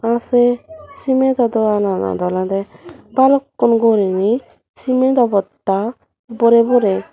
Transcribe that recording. a say cemado dogananot oloda balukun guri ney cemadho bosta boray boray.